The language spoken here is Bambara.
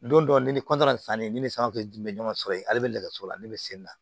Don dɔ ni san ne ni san bɛ dun bɛ ɲɔgɔn sɔrɔ yen ale bɛ nɛgɛso la ne bɛ sen na